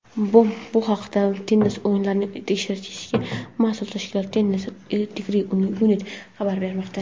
Bu haqda tennis o‘yinlarini tekshirishga mas’ul tashkilot "Tennis Integrity Unit" xabar bermoqda.